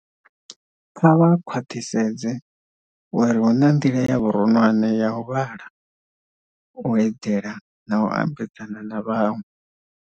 Kha vha khwaṱhisedze uri hu na nḓila ya vhuronwane ya u vhala, u eḓela na u ambedzana na vhaṅwe.